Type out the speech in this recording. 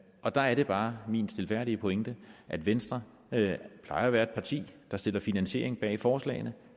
der er det bare min stilfærdige pointe at venstre plejer at være et parti der stiller finansiering bag forslagene